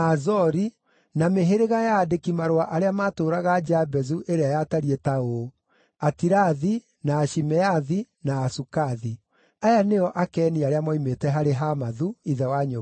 na mĩhĩrĩga ya aandĩki-marũa arĩa maatũũraga Jabezu ĩrĩa yatariĩ ta ũũ: Atirathi, na Ashimeathi, na Asukathi. Aya nĩo Akeni arĩa moimĩte harĩ Hamathu, ithe wa nyũmba ya Rekabu.